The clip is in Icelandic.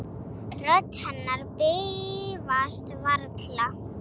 Rödd hennar bifast varla.